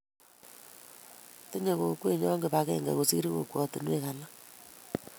Tinyei kokwenyo kibagenge kosir kokwesiek alak